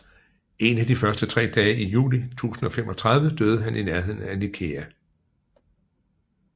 En af de første tre dage i juli 1035 døde han i nærheden af Nikæa